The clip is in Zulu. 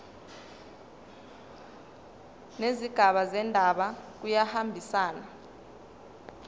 nezigaba zendaba kuyahambisana